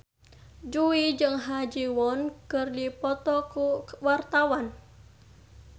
Jui jeung Ha Ji Won keur dipoto ku wartawan